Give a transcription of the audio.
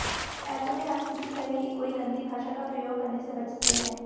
ऐसे में हम किसी तरह की कोई गंदी भाषा का प्रयोग करने से बचते हैं